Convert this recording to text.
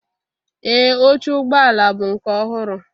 Ee oche ụgbọ ala bụ nke ọhụrụ